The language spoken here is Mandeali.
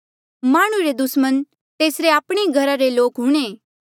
माह्णुं रे दुस्मण तेसरे आपणे घरा रे ई लोक हूंणे